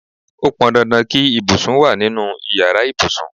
Ó pọn dandan kí ibùsùn wá nínú ìyára ibùsùn.